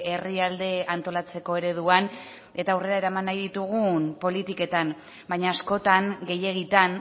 herrialdea antolatzeko ereduan eta aurrera eraman nahi ditugun politiketan baina askotan gehiegitan